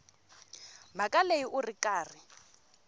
mhaka leyi u ri karhi